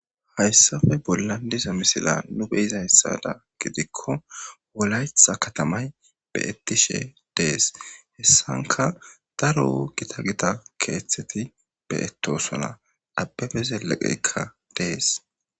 Hayssafe bollan disa misila nu beyiza hessada gidikko wolaytha katamay beyettishe dees hessanka daro wogita gita keeththeti beyetosona abbefe zeleqeykka dees.